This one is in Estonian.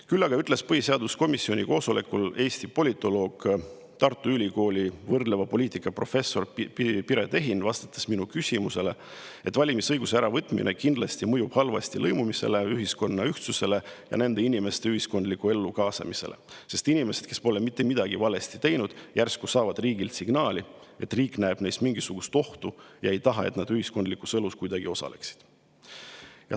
Küll aga ütles põhiseaduskomisjoni koosolekul Eesti politoloog, Tartu Ülikooli võrdleva poliitika professor Piret Ehin, minu küsimusele vastates, et valimisõiguse äravõtmine mõjub kindlasti halvasti lõimumisele, ühiskonna ühtsusele ja nende inimeste ühiskondlikku ellu kaasamisele, sest inimesed, kes pole mitte midagi valesti teinud, saavad järsku riigilt signaali, et riik näeb neis mingisugust ohtu ega taha, et nad kuidagi ühiskondlikus elus osaleksid.